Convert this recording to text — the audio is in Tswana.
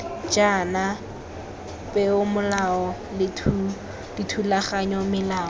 jaana peomolao le dithulaganyo melao